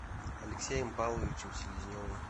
алексеем павловичем селезневым